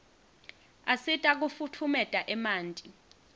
asita kufutfumeta emanti